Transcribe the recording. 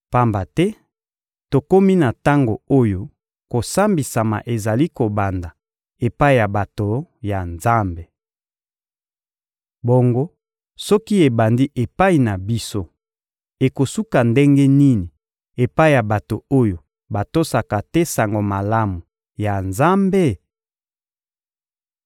Pamba te tokomi na tango oyo kosambisama ezali kobanda epai ya bato ya Nzambe. Bongo soki ebandi epai na biso, ekosuka ndenge nini epai ya bato oyo batosaka te Sango Malamu ya Nzambe?